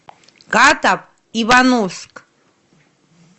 катав ивановск